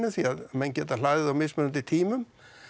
því að menn geta hlaðið á mismunandi tímum